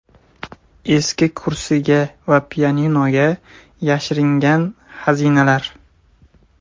Eski kursiga va pianinoga yashiringan xazinalar.